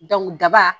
daba